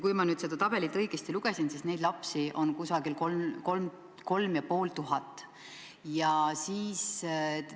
Kui ma nüüd seda tabelit õigesti lugesin, siis neid lapsi on umbes 3500.